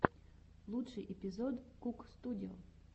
лучший эпизод кук студио